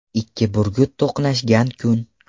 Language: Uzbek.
Ikki burgut to‘qnashgan kun.